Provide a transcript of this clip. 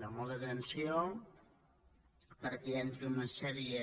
de molta tensió perquè hi ha tota una sèrie